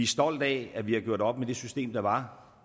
stolte af at vi har gjort op med det system der var